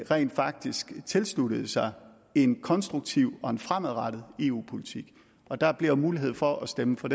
rent faktisk tilslutter sig en konstruktiv og fremadrettet eu politik og der bliver mulighed for at stemme for